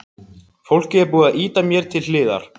Fólkið er búið að ýta mér til hliðar.